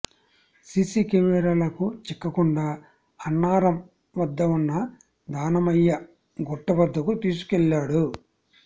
CC కెమెరాలకు చిక్కకుండా అన్నారం వద్ద ఉన్న దానమయ్య గుట్ట వద్దకు తీసుకెళ్లాడు